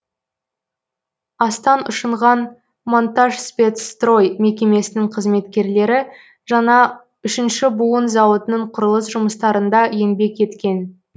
астан ұшынған монтажспецстрой мекемесінің қызметкерлері жаңа үшінші буын зауытының құрылыс жұмыстарында еңбек еткен